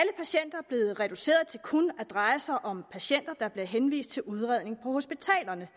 blevet reduceret til kun at dreje sig om patienter der bliver henvist til udredning på hospitalerne